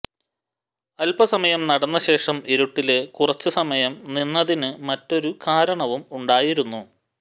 അല്പ സമയം നടന്ന ശേഷം ഇരുട്ടില് കുറച്ചു സമയം നിന്നതിനു മറ്റൊരു കാരണവും ഉണ്ടായിരുന്നു